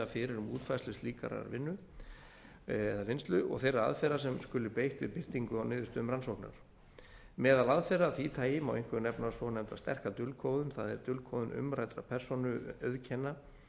fyrir um útfærslu slíkrar vinnu eða vinnslu og þeirra aðferða sem skuli beitt við birtingu á niðurstöðum rannsóknar meðal aðferða af því tagi má einkum nefna svonefnda sterka dulkóðun það er dulkóðun umræddra persónuauðkenna